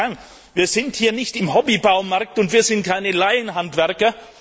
Meine Damen und Herren, wir sind hier nicht im Hobby Baumarkt, und wir sind keine Laienhandwerker!